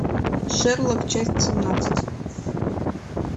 шерлок часть семнадцать